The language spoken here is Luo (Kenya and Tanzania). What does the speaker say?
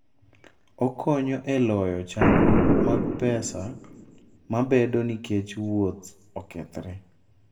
Okonyo e loyo chandruok mag pesa mabedoe nikech wuoth okethore.